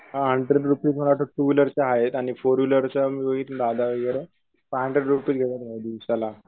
पण आता टू व्हीलरच्या आहेत आणि फोर व्हीलर वगैरे